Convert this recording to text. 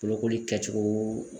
Bolokoli kɛcogo